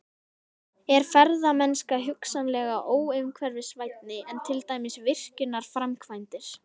Er ferðamennska hugsanlega óumhverfisvænni en til dæmis virkjunarframkvæmdir?